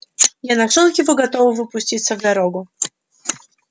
я нашёл его готового пуститься в дорогу